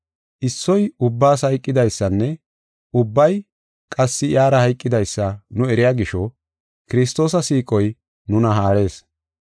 Issoy ubbaas hayqidaysanne ubbay qassi iyara hayqidaysa nu eriya gisho, Kiristoosa siiqoy nuna haarees.